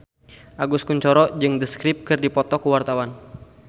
Agus Kuncoro jeung The Script keur dipoto ku wartawan